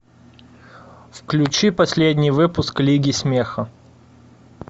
включи последний выпуск лиги смеха